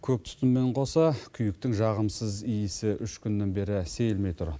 көк түтінмен қоса күйіктің жағымсыз иісі үш күннен бері сейілмей тұр